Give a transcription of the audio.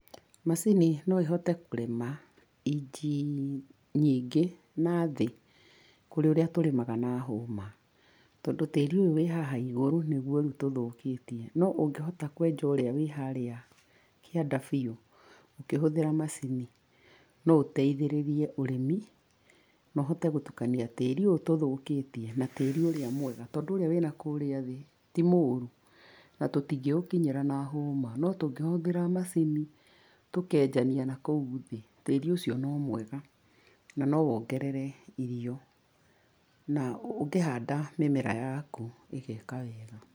Macini no ĩhote kũrĩma, inji nyingĩ nathĩ, kũrĩ ũrĩa tũrĩmaga na hũma. tondũ tĩri ũyũ wĩ haha igũrũ nĩguo rĩũ tũthũkĩtie. No ũngĩhota kwenja ũrĩa wĩ harĩa kĩanda biũ, ũkĩhũthĩra macini, no ũteithĩrĩrie ũrĩmi, na ũhote gũtukania tĩri ũyũ tũthũkĩtie na tĩri ũrĩa mwega, tondũ ũrĩa wĩnakũrĩa thĩ ti mũrũ, na tũtingĩũkinyĩra na hũma, no tũngĩhũthĩra macini, tũkenjania na kũu thĩ, tĩri ũcio no mwega, na no wongerere irio, na ũngĩhanda mĩmera yaku ĩgeka wega.